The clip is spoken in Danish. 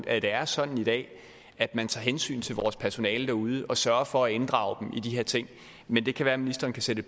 at det er sådan i dag at man tager hensyn til vores personale derude og sørger for at inddrage dem i de her ting men det kan være at ministeren kan sætte